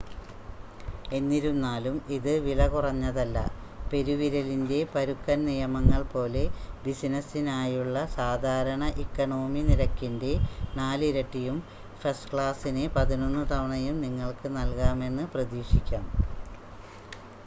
എന്നിരുന്നാലും ഇത് വിലകുറഞ്ഞതല്ല പെരുവിരലിൻ്റെ പരുക്കൻ നിയമങ്ങൾ പോലെ ബിസിനസ്സിനായുള്ള സാധാരണ ഇക്കോണമി നിരക്കിൻ്റെ 4 ഇരട്ടിയും ഫസ്റ്റ് ക്ലാസിന് പതിനൊന്ന് തവണയും നിങ്ങൾക്ക് നൽകാമെന്ന് പ്രതീക്ഷിക്കാം